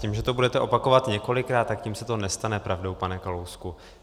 Tím, že to budeme opakovat několikrát, tak tím se to nestane pravdou, pane Kalousku.